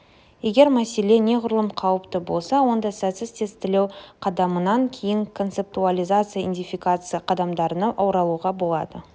егер мәселе неғұрлым қауіпті болса онда сәтсіз тестілеу қадамынан кейін концептуализация идентификация қадамдарына оралуға болады